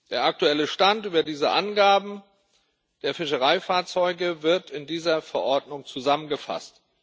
Der aktuelle Stand über diese Angaben der Fischereifahrzeuge wird in dieser Verordnung zusammengefasst.